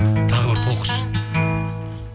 тағы бір толқышы